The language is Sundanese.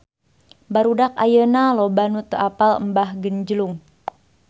Barudak ayeuna loba nu teu apal Mbah Genjlung